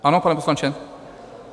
Ano, pane poslanče?